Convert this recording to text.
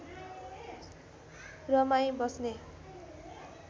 रमाई बस्ने